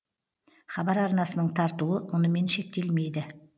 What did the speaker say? хабар арнасының тартуы мұнымен шектелмейді